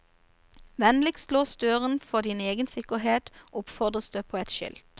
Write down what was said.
Vennligst lås døren for din egen sikkerhet, oppfordres det på et skilt.